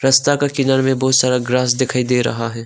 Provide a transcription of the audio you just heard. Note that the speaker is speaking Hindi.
रस्ता का किनारे में बहोत सारा ग्रास दिखाई दे रहा है।